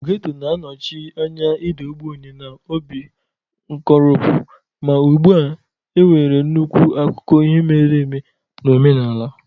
Getto na-anọchi anya ịda ogbenye na obi nkoropụ, ma ugbu a nwere nnukwu akụkọ ihe mere eme na omenala.